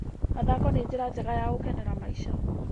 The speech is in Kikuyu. Mathako nĩ njĩra njega ya gũkenera maica.